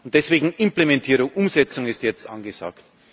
Deswegen Implementierung, Umsetzung ist jetzt angesagt.